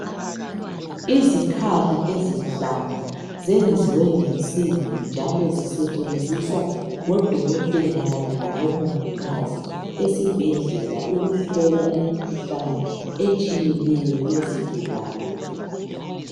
izikhali ezinhlanu zenziwe ngensimbi njalo zisetshenziswa ngo dokotela kanye labo mongikazi esibhedlela ukuhlola imikhuhlane etsheyeneyo yezigulane